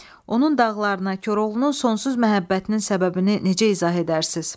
Onun dağlarına Koroğlunun sonsuz məhəbbətinin səbəbini necə izah edərsiniz?